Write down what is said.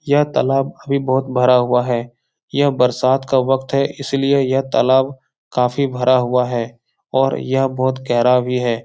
यह तालाब अभी बहुत भरा हुआ है । यह बरसात का वक़्त है इसलिए यह तालाब काफ़ी भरा हुआ है और यह बहुत गहरा भी है ।